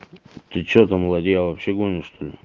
ты что там ладья вообще гонишь что-ли